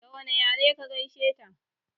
Da wane yare ka gaishe ta?